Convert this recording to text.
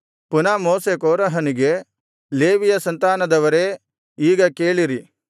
ಪುನಃ ಮೋಶೆ ಕೋರಹನಿಗೆ ಲೇವಿಯ ಸಂತಾನದವರೇ ಈಗ ಕೇಳಿರಿ